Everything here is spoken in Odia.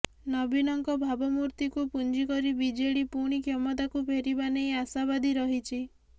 ନବୀନଙ୍କ ଭାବମୂର୍ତ୍ତିକୁ ପୁଞ୍ଜିକରି ବିଜେଡି ପୁଣି କ୍ଷମତାକୁ ଫେରିବା ନେଇ ଆଶାବାଦୀ ରହିଛି